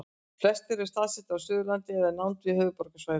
flestir eru staðsettir á suðurlandi eða í nánd við höfuðborgarsvæðið